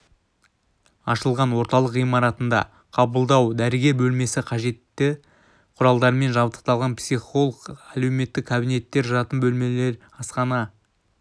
ашылған орталық ғимаратында қабылдау дәрігер бөлмесі қажетті құралдармен жабдықталған психолог әлеуметтік кабинеттер жатын бөлмелер асхана